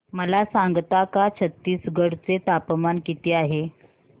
मला सांगता का छत्तीसगढ चे तापमान किती आहे